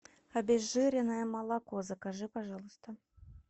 обезжиренное молоко закажи пожалуйста